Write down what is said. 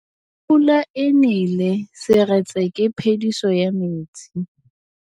Fa pula e nelê serêtsê ke phêdisô ya metsi.